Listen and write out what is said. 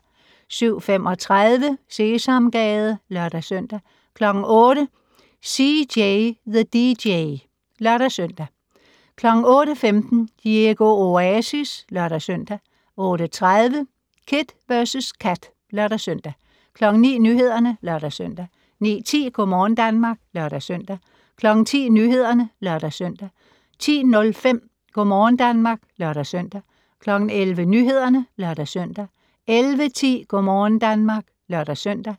07:35: Sesamgade (lør-søn) 08:00: CJ the DJ (lør-søn) 08:15: Diego Oasis (lør-søn) 08:30: Kid vs Kat (lør-søn) 09:00: Nyhederne (lør-søn) 09:10: Go' morgen Danmark (lør-søn) 10:00: Nyhederne (lør-søn) 10:05: Go' morgen Danmark (lør-søn) 11:00: Nyhederne (lør-søn) 11:10: Go' morgen Danmark (lør-søn)